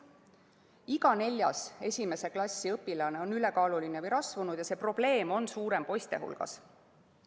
Iga neljas esimese klassi õpilane on ülekaaluline või rasvunud ja see probleem on suurem poiste hulgas.